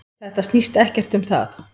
Þetta snýst ekkert um það.